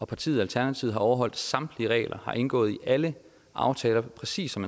partiet alternativet har overholdt samtlige regler og har indgået i alle aftaler præcis som